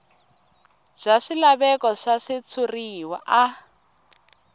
bya swilaveko swa switshuriwa a